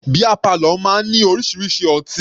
Beer parlour máa ní orísirísi ọtí.